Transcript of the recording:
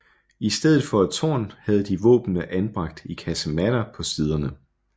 I stedet for et tårn havde de våbnene anbragt i kasematter på siderne